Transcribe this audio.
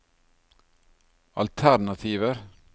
alternativer